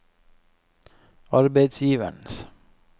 arbeidsgivernes